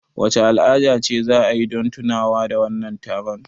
Wace al'ada ce za a yi don tunawa da wannan taron?